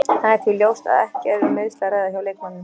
Það er því ljóst að ekki er um meiðsli að ræða hjá leikmanninum.